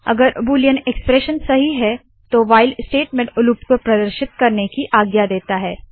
अगर Boolean expression सही है तो व्हाइल स्टेटमेंट लूप को प्रदर्शित करने की आज्ञा देता है